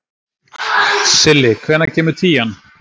Silli, hvenær kemur tían?